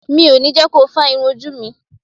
Mi ò ní jẹ́ ko fá irun ojú mi.